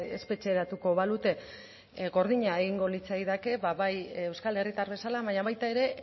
espetxeratuko balute gordina egingo litzaidake bai euskal herritar bezala baina baita ere